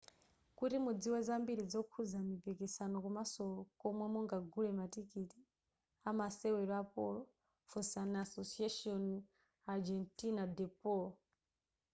kuti mudziwe zambiri zokhuza mipiksano komaso komwe mungagule matikiti a masewero a polo funsani asociacion argentina de polo